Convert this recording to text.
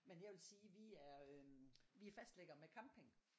Men jeg vil sige vi er øhm vi er fastlæggere med camping